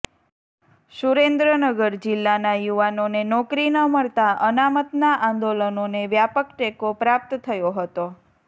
સુરેન્દ્રનગર જિલ્લાના યુવાનોને નોકરી ન મળતા અનામતના આંદોલનોને વ્યાપક ટેકો પ્રાપ્ત થયો હતો